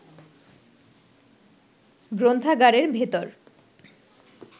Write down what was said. গ্রন্থাগারের ভেতর